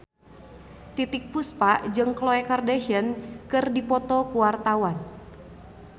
Titiek Puspa jeung Khloe Kardashian keur dipoto ku wartawan